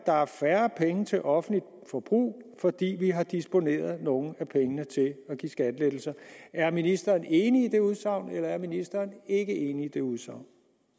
der er færre penge til offentligt forbrug fordi vi har disponeret nogle af pengene til at give skattelettelser er ministeren enig i det udsagn eller er ministeren ikke enig i det udsagn